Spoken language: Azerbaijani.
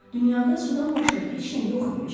Dünyada sudan başqa heç nə yox imiş.